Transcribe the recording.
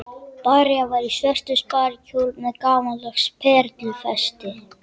María var í svörtum sparikjól með gamaldags perlufesti.